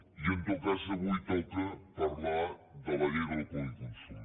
i en tot cas avui toca parlar de la llei del codi de consum